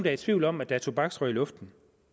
er i tvivl om at der er tobaksrøg i luften